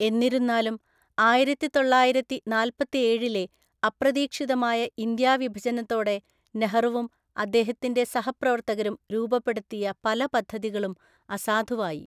എന്നിരുന്നാലും, ആയിരത്തിതൊള്ളായിരത്തിനാല്‍പത്തേഴിലെ അപ്രതീക്ഷിതമായ ഇന്ത്യാ വിഭജനത്തോടെ നെഹ്‌റുവും അദ്ദേഹത്തിന്റെ സഹപ്രവർത്തകരും രൂപപ്പെടുത്തിയ പല പദ്ധതികളും അസാധുവായി.